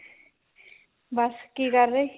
ਬੱਸ ਕਿ ਕਰ ਰਹੇ